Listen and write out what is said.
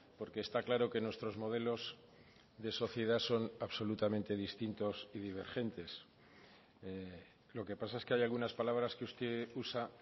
porque está claro que nuestros modelos de sociedad son absolutamente distintos y divergentes lo que pasa es que hay algunas palabras que usted usa